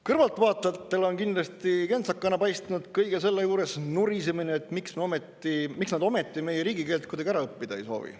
Kõrvaltvaatajatele on kindlasti kentsakana paistnud kõige selle juures nurisemine, et miks nad ometi meie riigikeelt kuidagi ära õppida ei soovi.